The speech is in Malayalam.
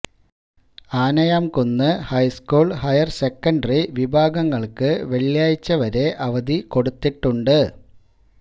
ആനയാംകുന്ന് ഹൈസ്കൂള് ഹയര് സെക്കന്ററി വിഭാഗങ്ങള്ക്ക് വെള്ളിയാഴ്ച വരെ അവധി കൊടുത്തിട്ടുണ്ട്